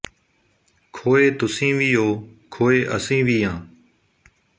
ਖੋਏ ਤੁਸੀਂ ਵੀ ਓ ਖੋਏ ਅਸੀਂ ਵੀ ਆਂ